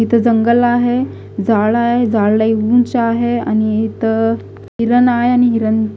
इथं जंगल आहे जाळ आहे जाळ लय ऊंच आहे आणि इथं हिरण आहे आणि हिरण--